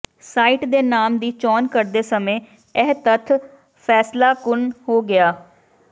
site ਦੇ ਨਾਮ ਦੀ ਚੋਣ ਕਰਦੇ ਸਮੇਂ ਇਹ ਤੱਥ ਫੈਸਲਾਕੁੰਨ ਹੋ ਗਿਆ